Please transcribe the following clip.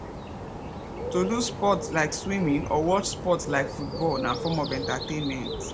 to do sports like swimming or watch sports like football na form of entertainment